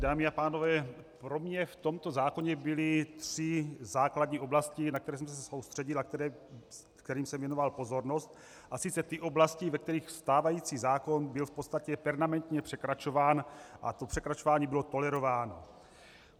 Dámy a pánové, pro mě v tomto zákoně byly tři základní oblasti, na které jsem se soustředil a kterým jsem věnoval pozornost, a sice ty oblasti, ve kterých stávající zákon byl v podstatě permanentně překračován a to překračování bylo tolerováno.